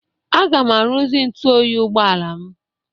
Aga m arụzi ntụ oyi ụgbọala m.